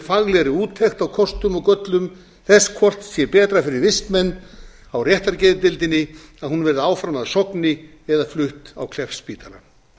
faglegri úttekt á kostum og göllum þess hvort betra sé fyrir vistmenn á réttargeðdeildinni að hún verði áfram að sogni eða flutt á kleppsspítala